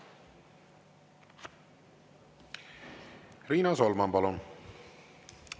Riina Solman, palun!